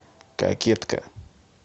кокетка